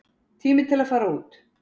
Tími til að fara út.